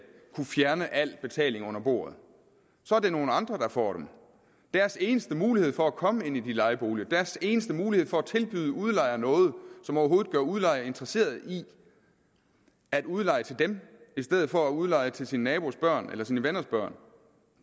kunne fjerne al betaling under bordet så er det nogle andre der får dem deres eneste mulighed for at komme ind i de lejeboliger deres eneste mulighed for at tilbyde udlejer noget som overhovedet gør udlejer interesseret i at udleje til dem i stedet for at udleje til sin nabos børn eller sine venners børn